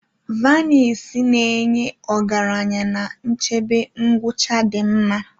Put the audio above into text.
Vanisi na-enye ọgaranya na nchebe ngwucha di nma.